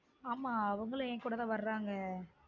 ஆமா அவங்களும் ஏன் கூட தான் வர்ராங்க